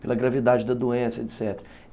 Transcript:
pela gravidade da doença, etc.